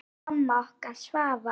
Elsku amma okkar Svava.